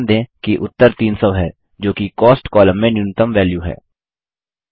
ध्यान दें कि उत्तर 300 है जोकि कॉस्ट कॉलम में न्यूनतम वैल्यू है